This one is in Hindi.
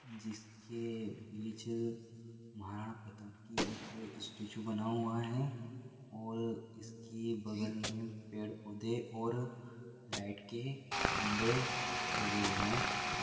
जिसके बीच महाराणा प्रताप की एक स्टेचू बना हुआ है और इसके बगल में पेड़ पौधे और लाइट के खम्भे लगे हुए है।